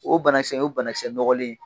O banakisɛ in , o ye banalisɛ nɔgɔlen.